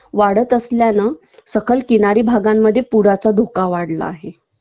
वाढत असल्यानं सकल किनारी भागांमध्ये पुराचा धोका वाढला आहे